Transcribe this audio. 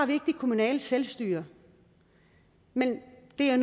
det kommunale selvstyre men det er